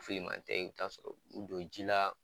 ma tɛ i bi ta'a sɔrɔ u don ji la